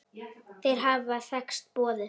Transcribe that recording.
Þeir hafa þekkst boðið.